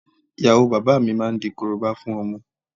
Ìyàwó bàbá mi máa di Korobá fún ọmọ